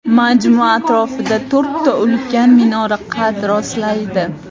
Majmua atrofida to‘rtta ulkan minora qad rostlaydi.